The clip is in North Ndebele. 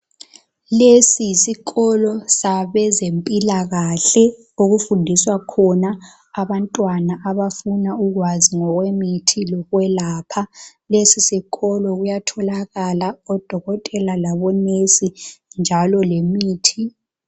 Lesi yisikolo sabezempilakahle okufundiswa khona abantwana abafuna ukwazi ngokwemithi lokwelapha kulesi sikolo kuyatholakala odokotela labo "nurse" njalo lemithi.